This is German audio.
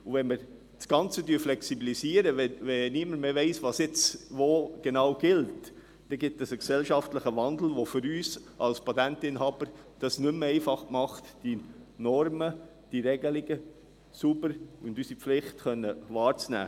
Wenn man das Ganze flexibilisiert, wenn niemand mehr weiss, was jetzt wo genau gilt, ergibt das einen gesellschaftlichen Wandel, der es für uns als Patentinhaber nicht mehr einfach macht, bei diesen Normen und Regelungen unsere Pflicht wahrnehmen zu können.